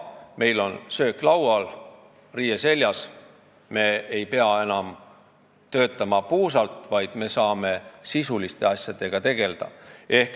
Meil on söök laual ja riie seljas, me ei pea enam puusalt töötama, vaid me saame sisuliste asjadega tegelda.